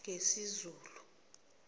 ngesizulu